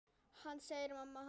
Það segir mamma hans.